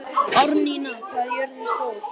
Árnína, hvað er jörðin stór?